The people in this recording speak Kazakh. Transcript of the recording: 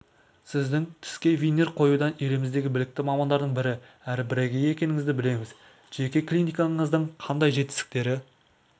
сіздің тіске винир қоюдан еліміздегі білікті мамандардың бірі әрі бірегейі екеніңізді білеміз жеке клиникаңыздың қандай жетістіктері